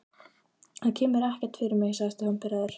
Það kemur ekkert fyrir mig sagði Stefán pirraður.